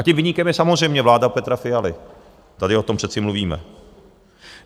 A tím viníkem je samozřejmě vláda Petra Fialy, tady o tom přece mluvíme.